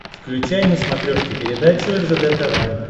включай на смотрешке передачу ржд тв